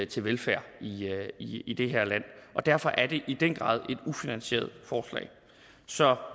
til velfærd i det her land derfor er det i den grad et ufinansieret forslag så